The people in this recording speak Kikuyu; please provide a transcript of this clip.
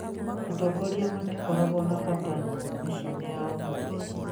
Atongoria matikoragwo na bata mĩciĩ-inĩ ya ũmũthĩ